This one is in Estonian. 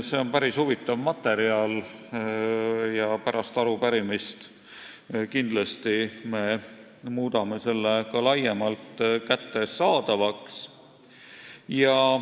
See on päris huvitav materjal ja pärast arupärimise arutelu me muudame selle kindlasti ka laiemalt kättesaadavaks.